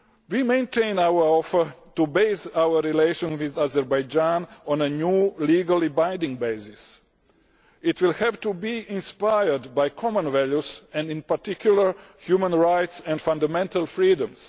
We maintain our offer to base our relations with Azerbaijan on a new, legally binding basis. It will have to be inspired by common values and in particular human rights and fundamental freedoms.